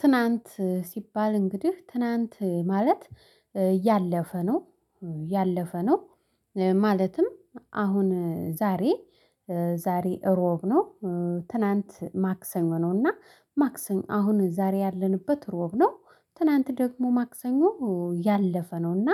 ትናንት ሲባል እንግዲህ ትናንት ማለት ያለፈ ነው ያለፈ ነው። ማለትም አሁን ዛሬ ዛሬ እሮብ ነው። ትናንት ማክሰኞ ነውና ማክሰኞ አሁን ዛሬ ያለንበት እሮብ ነው። ትናንት ደግሞ ማክሰኞ ያለፈ ነው እና።